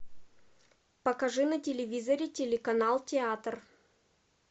покажи на телевизоре телеканал театр